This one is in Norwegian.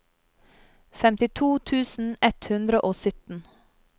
femtito tusen ett hundre og sytten